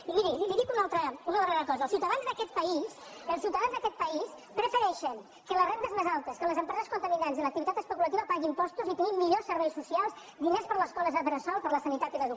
i miri li dic una altra una darrera cosa els ciutadans d’aquest país els ciutadans d’aquest país prefereixen que les rendes més altes que les empreses contaminants i l’activitat especulativa pagui impostos i tinguem millors serveis socials diners per a les escoles bressol per a la sanitat i l’educació